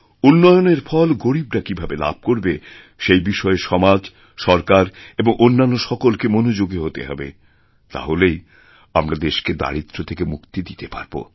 উন্নয়নের ফলগরীবরা কীভাবে লাভ করবে সেই বিষয়ে সমাজ সরকার এবং অন্যান্য সকলকে মনোযোগী হতে হবে তাহলেই আমরা দেশকে দারিদ্র্য থেকে মুক্তি দিতে পারব